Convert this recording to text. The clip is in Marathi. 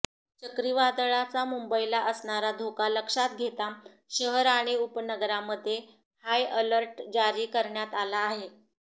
चक्रीवादळाचा मुंबईला असणारा धोका लक्षात घेता शहर आणि उपनगरामध्ये हाय अर्लट जारी करण्यात आला आहे